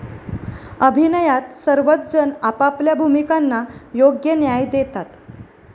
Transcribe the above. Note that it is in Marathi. अभिनयात सर्वच जण आपापल्या भूमिकांना योग्य न्याय देतात.